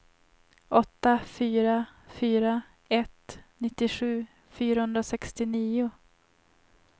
åtta fyra fyra ett nittiosju fyrahundrasextionio